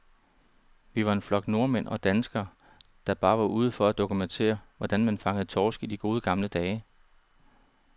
Vi var en flok nordmænd og danskere, der bare var ude for at dokumentere, hvordan man fangede torsk i de gode, gamle dage.